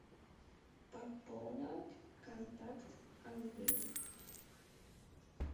пополнить контакт андрей